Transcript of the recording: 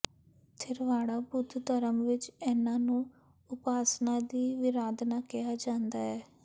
ਥਿਰਵਾੜਾ ਬੁੱਧ ਧਰਮ ਵਿੱਚ ਇਹਨਾਂ ਨੂੰ ਉਪਾਸਨਾ ਦੀ ਵਿਰਾਧਨਾ ਕਿਹਾ ਜਾਂਦਾ ਹੈ